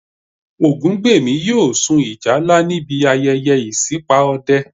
Ògúngbèmí yóò sun ìjálá níbi ayẹyẹ ìṣípà Ọdẹ